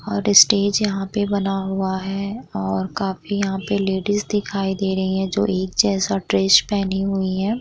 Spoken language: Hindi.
और स्टेज यहाँ पे बना हुआ है और काफी यहाँ पे लेडीज़ दिखाई दे रही है जो एक जैसा ड्रेस पहनी हुई हैं।